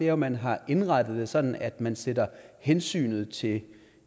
er at man har indrettet det sådan at man sætter hensynet til